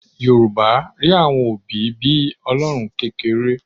Yorùbá rí àwọn òbí bí Ọlọ́run kékeré